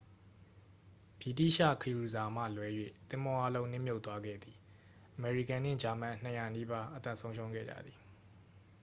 ဗြိတိသျှခရူစာမှလွဲ၍ သင်္ဘောအားလုံး နစ်မြှုပ်သွားခဲ့သည် အမေရိကန်နှင့် ဂျာမန် 200 နီးပါး အသက်ဆုံးရှုံးခဲ့ကြသည်